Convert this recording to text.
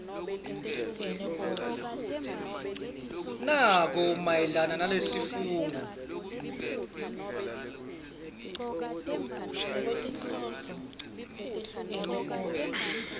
nako mayelana nalesifungo